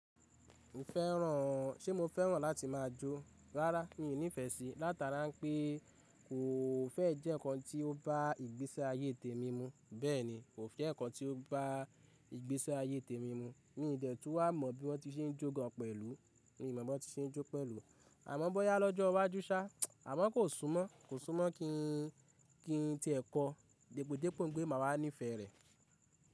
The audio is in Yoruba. Ṣé mo fẹ́ràn láti máa jó? Rárá, mi ò nífẹ̀ẹ́ sí. Látara ń pé kò fẹ́ẹ̀ jẹ́ nnkan tí ó bá ìgbésí ayé tèmi mu, bẹ́ẹ̀ni, kò jẹ́ nǹkan tí ó bá ìgbésí ayé tèmi mu. Mi ò dẹ̀ tún wá mọ bí wọ́n tún se ń jó gan pẹ̀lú. Mi ò mọ̀ bí wọ́n ti se ń jó pẹ̀lú. Àmọ́ bọ́yá lọ́jọ́ iwájú sá, àmọ́ kò súnmọ́, kò súnmọ́ kí n ti ẹ̀ kọ dèpòdépò ńpé màá wá níìfẹ̀ẹ́ rẹ̀.